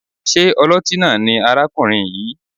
Ṣé ọlọ́tí náà ni arákùnrin yìí?